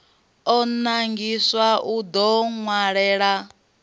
o nangiwaho u ḓo ṅwalela